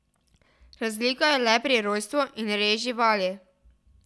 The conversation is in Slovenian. Razlika je le pri rojstvu in reji živali.